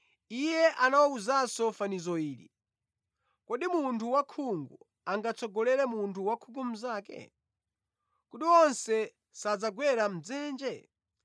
Iye anawawuzanso fanizo ili, “Kodi munthu wakhungu angatsogolere munthu wakhungu mnzake? Kodi onse sadzagwera mʼdzenje?